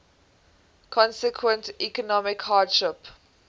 consequent economic hardship